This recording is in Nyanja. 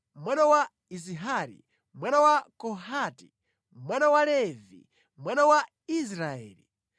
mwana wa Izihari, mwana wa Kohati, mwana wa Levi, mwana wa Israeli;